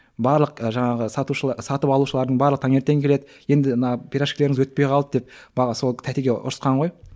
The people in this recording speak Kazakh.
барлық жаңағы сатып алушылардың барлығы таңертең келеді енді мына пирожкилеріңіз өтпей қалды деп сол тәтеге ұрысқан ғой